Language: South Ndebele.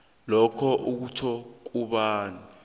lokhu kutjho kobana